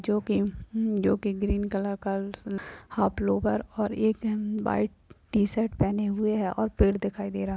जोकि-जोकि green colour का half lower और एक व्हाइट शर्ट पहने हुए हैं और पेड़ दिखाई दे रहा है।